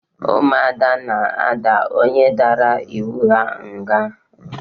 Umuada na-ada onye dara ịwụ ha ngha